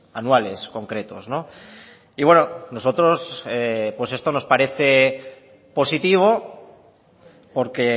anuales concretos y bueno nosotros esto nos parece positivo porque